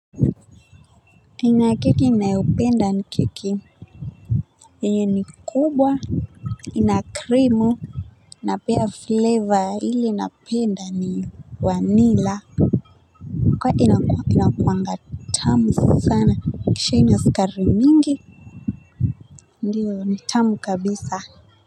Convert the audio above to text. Aina ya keki ninayopenda ni keki, yenye ni kubwa. Ika krimu na pia fleva ile napenda ni vanila inakuanga tamu sana kisha ina sukari mingi ndio ni tamu kabisa haa aa aa.